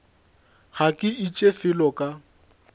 ga ke iše felo ka